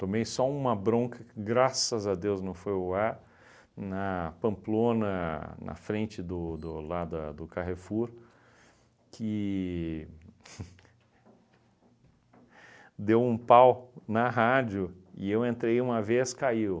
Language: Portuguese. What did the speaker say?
Tomei só uma bronca, que graças a Deus não foi ao ar, na Pamplona, na frente do do lá da do Carrefour, que deu um pau na rádio e eu entrei uma vez, caiu.